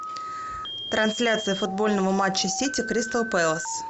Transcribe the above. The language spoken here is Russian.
трансляция футбольного матча сити кристал пэлас